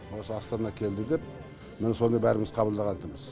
осы астана келді деп міне соны барлығымыз қабылдаватырымыз